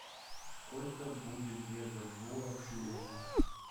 сколько будет две бальбоа в шиллингах